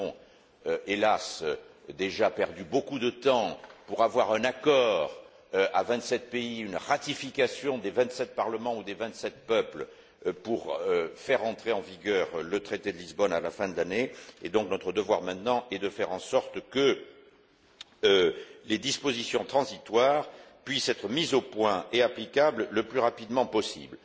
Nous avons, hélas, déjà perdu beaucoup de temps pour avoir un accord à vingt sept pays, une ratification des vingt sept parlements ou des vingt sept peuples pour faire entrer en vigueur le traité de Lisbonne à la fin de l'année et notre devoir maintenant est de faire en sorte que les dispositions transitoires puissent être mises au point et applicables le plus rapidement possible.